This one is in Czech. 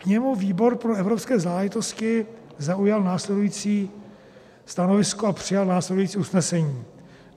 K němu výbor pro evropské záležitosti zaujal následující stanovisko a přijal následující usnesení: